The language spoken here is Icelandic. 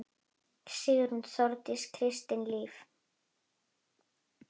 Sigrún, Þórdís og Kristín Líf.